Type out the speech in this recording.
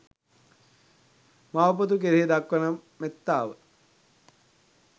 මව පුතු කෙරෙහි දක්වන මෙත්තාව